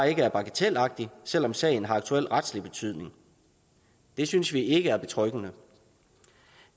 ikke er bagatelagtig og selv om sagen har aktuel retlig betydning det synes vi ikke er betryggende